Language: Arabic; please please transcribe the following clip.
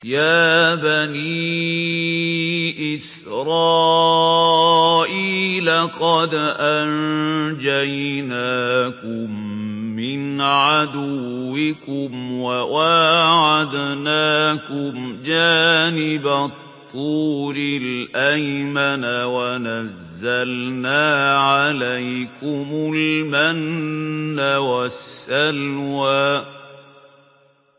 يَا بَنِي إِسْرَائِيلَ قَدْ أَنجَيْنَاكُم مِّنْ عَدُوِّكُمْ وَوَاعَدْنَاكُمْ جَانِبَ الطُّورِ الْأَيْمَنَ وَنَزَّلْنَا عَلَيْكُمُ الْمَنَّ وَالسَّلْوَىٰ